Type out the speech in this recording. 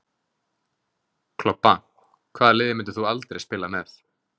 Klobba Hvaða liði myndir þú aldrei spila með?